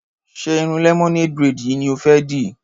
Ṣé irun lemonade braid yìí ni o fẹ́ dì?